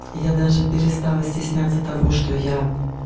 я даже перестала стесняться того что я